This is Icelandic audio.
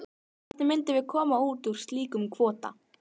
Hvernig myndum við koma út úr slíkum kvóta?